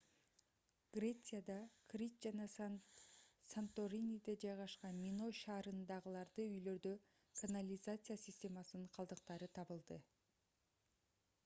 грецияда крит жана санториниде жайгашкан миной шаарынындагы үйлөрдө канализация системасынын калдыктары табылды